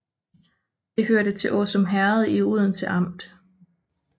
Det hørte til Åsum Herred i Odense Amt